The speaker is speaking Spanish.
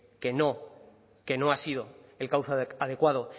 que no que no ha sido el cauce adecuado